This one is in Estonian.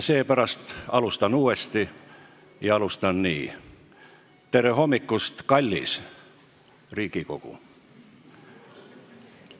Seepärast alustan uuesti, ja alustan nii: tere hommikust, kallis Riigikogu!